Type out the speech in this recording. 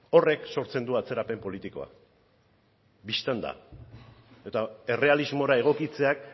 horrek sortzen du atzerapen politikoa bistan da eta errealismora egokitzeak